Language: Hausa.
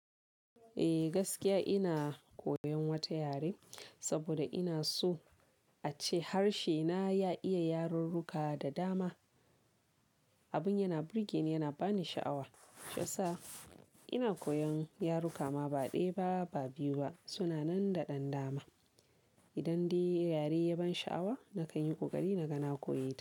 Eh gaskiya ina koyan wata yare saboda ina so ace harshe na ya iya yarurruka da dama. Abin yana burge ni yana bani sha'awa. Shiyasa ina koyan yaruka ma ba ɗaya ba, ba biyu ba, suna nan da ɗan dama. Idan dai yare ya ban sha'awa nakan yi ƙoƙari na ga na koyeta.